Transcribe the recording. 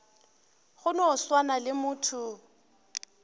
go no swana le motho